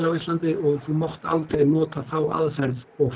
á Íslandi og þú mátt aldrei nota þá aðferð og